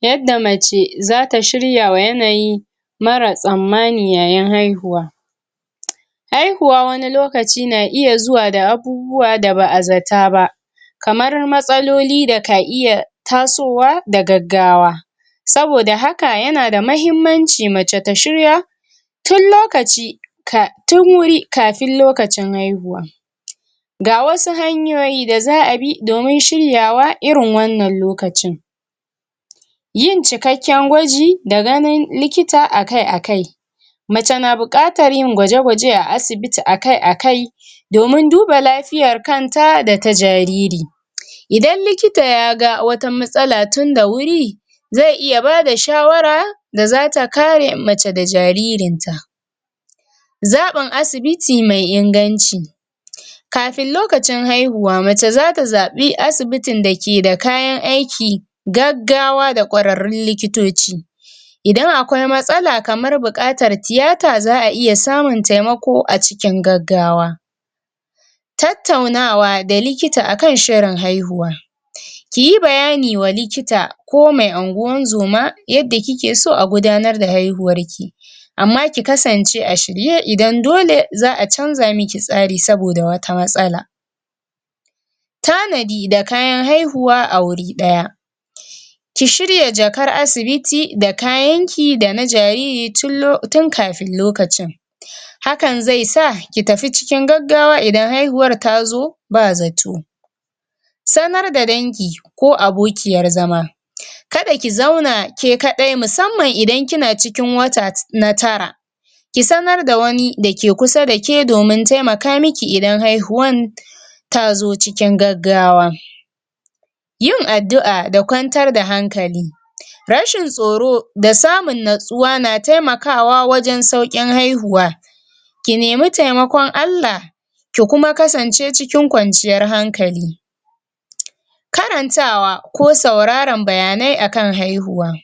Yadda mace zata shirya wa yanayi mara tsammani yayin haihuwa haihuwa wani lokaci na iya zuwa da abubuwa da ba a zata ba kamar matsaloli da ka iya tasowa da gaggawa saboda haka yana da mahiimmanci mace ta shirya tun lokaci um tun wuri kafin lokacin haihuwa ga wasu hanyoyi da za a bi domin shiryawa irin wannan lokacin yin cikakken gwaji da ganin likita a kai a kai mace na buƙatar yin gwaje-gwaje a asibiti a kai a kai domin duba lafiyar kanta da ta jariri idan likita ya ga wata matsala tun da wuri ze iya bada shawara da zata kare mace da jaririnta zaɓan asibiti mai inganci kafin lokacin haihuwa mace zata zaɓi asibitin da ke da kayan aiki gaggawa da ƙwararrun likitoci idan akwai matsala kamar buƙatar tiyata za a iya samun taimako a cikin gaggawa tattaunawa da likita akan shirin haihuwa kiyi bayani wa likita ko mai anguwan zoma yadda kike so a gudanar da haihuwar ki amma ki kasance a shirye idan dole za a canza miki tsari saboda wata matsala tanadi da kayan haihuwa a wuri ɗaya ki shirya jakar asibiti da kayan ki da na jariri tun um tun kafin lokacin hakan zai sa ki tafi cikin gaggawa idan haihuwar tazo ba zato sanar da dangi ko abokiyar zama kada ki zauna ke kaɗai musamman idan kina ikin wata na tara ki sanar da wani da ke kusa da ke dominn taimaka miki idan haihuwan tazo cikin gaggawa yin addu'a da kwantar da hankali rashin tsoro da samun natsuwa na taimakawa wajen sauƙin haihuwa ki nemi taimakon Allah ki kuma kasance cikin kwanciyar hankali karantawa ko sauraran bayanai akan haihuwa